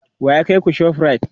wa ya kaiku ShopRite?